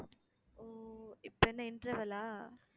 ஓ இப்ப என்ன interval ஆ